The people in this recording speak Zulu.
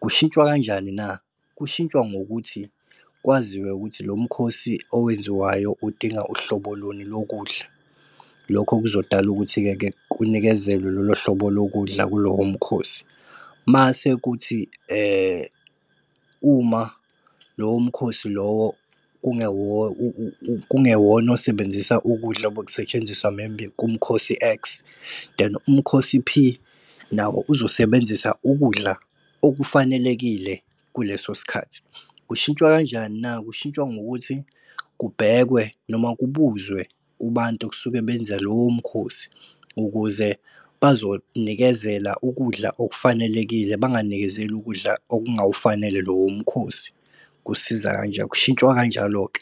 Kushintshwa kanjani na? Kushintshwa ngokuthi kwaziwe ukuthi lo mkhosi owenziwayo udinga uhlobo luni lokudla. Lokho kuzodala ukuthike-ke kunikezelwe lolo hlobo lokudla kulowo mkhosi. Mase kuthi , uma lowo mkhosi lowo kungewona osebenzisa ukudla obekusetshenziswa maybe kumkhosi X, then umkhosi P, nawo uzosebenzisa ukudla okufanelekile kuleso sikhathi. Kushintshwa kanjani na? Kushintshwa ngokuthi kubhekwe noma kubuzwe kubantu okusuke benza lowo mkhosi, ukuze bazonikezela ukudla okufanelekile banganikezeli ukudla okungawufanele lowo mkhosi. Kusiza , kushintshwa kanjalo-ke.